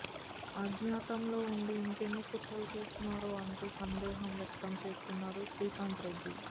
అజ్ఞాతంలో ఉండి ఇంకెన్ని కుట్రలు చేస్తున్నారో అంటూ సందేహం వ్యక్తం చేస్తున్నారు శ్రీకాంత్ రెడ్డి